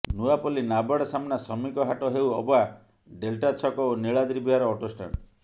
Nuapalli NABARD ସାମ୍ନା ଶ୍ରମିକ ହାଟ ହେଉ ଅବା ଡେଲ୍ଟା ଛକ ଓ ନିଳାଦ୍ରୀ ବିହାର ଅଟୋ ଷ୍ଟାଣ୍ଡ